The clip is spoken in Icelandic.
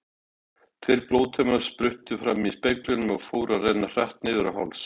Tveir blóðtaumar spruttu fram í speglinum og fóru að renna hratt niður á háls.